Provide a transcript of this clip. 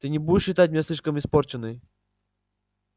ты не будешь считать меня слишком испорченной